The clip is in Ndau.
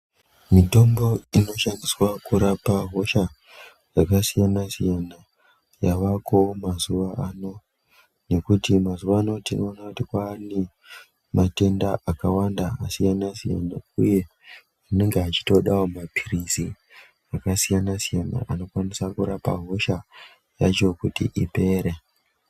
Mitombo inoshandiswa kurapa hosha dzakasiyana siyana yavako mazuva ano nekuti mazuva ano tinoona kuti kwane matenda akawanda akasiyana siyana uye anenge achitodawo mapilizi akasiyana siyana anokwanisa kurapa hosha yacho kuti ipere.